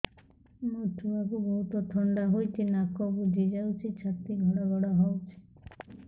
ମୋ ଛୁଆକୁ ବହୁତ ଥଣ୍ଡା ହେଇଚି ନାକ ବୁଜି ଯାଉଛି ଛାତି ଘଡ ଘଡ ହଉଚି